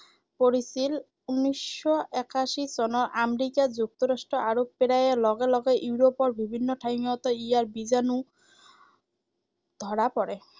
পৰিছিল উনৈশ একাশী চনৰ আমৰিকা যুক্তৰাষ্ট্ৰত আৰু প্ৰায় লগে লগে ইউৰোপৰ বিভিন্ন ঠাইতো ইয়াৰ বীজাণু ধৰা পৰে।